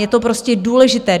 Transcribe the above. Je to prostě důležité.